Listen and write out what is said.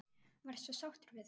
Varstu sáttur við það?